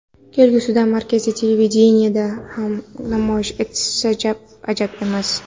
Kelgusida markaziy televideniyeda ham namoyish etilsa ajab emas.